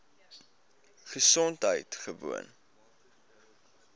gesondheidgewoon